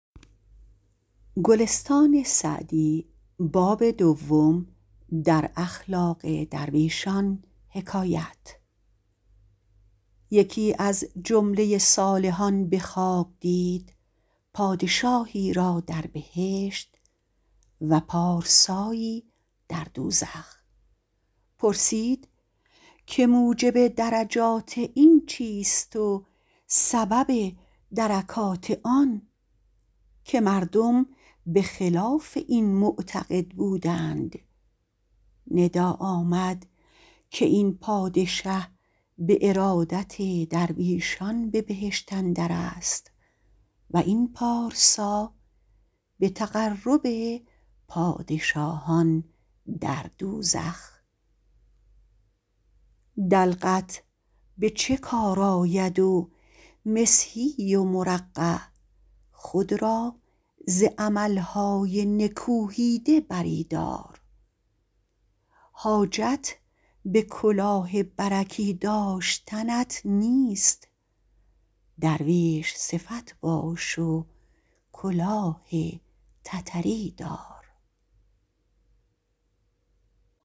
یکی از جمله صالحان به خواب دید پادشاهی را در بهشت و پارسایی در دوزخ پرسید که موجب درجات این چیست و سبب درکات آن که مردم به خلاف این معتقد بودند ندا آمد که این پادشه به ارادت درویشان به بهشت اندر است و این پارسا به تقرب پادشاهان در دوزخ دلقت به چه کار آید و مسحی و مرقع خود را ز عمل های نکوهیده بری دار حاجت به کلاه برکی داشتنت نیست درویش صفت باش و کلاه تتری دار